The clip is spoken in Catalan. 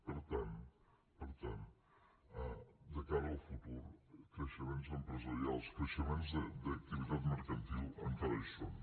per tant per tant de cara al futur creixements empresarials creixements d’activitat mercantil encara hi són